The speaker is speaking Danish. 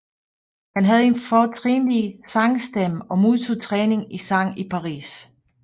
Han havde en fortrinlig sangstemme og modtog træning i sang i Paris